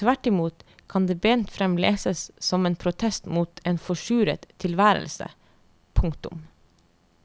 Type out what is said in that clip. Tvertimot kan det bent frem leses som en protest mot en forsuret tilværelse. punktum